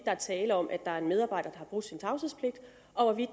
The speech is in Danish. er tale om at en medarbejder har brudt sin tavshedspligt og hvorvidt